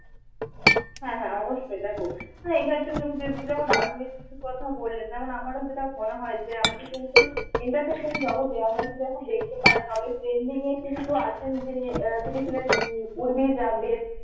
হ্যাঁ হ্যাঁ অবশ্যই দেখো হ্যাঁ রাজনীতির কথা বললেন এখন আমার ও যেটা মনে হয় যে আমাদের কিন্তু entertainment জগতে যে আমরা শুধুএখন দেখতে পাই তবে trending এ কিন্তু আছেন যিনি আহ তিনি ছিলেন উর্বি জাভেদ